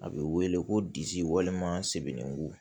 A bɛ wele ko disi walima sebeningu